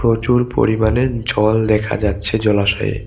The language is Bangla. প্রচুর পরিমাণে জল দেখা যাচ্ছে জলাশয়ে।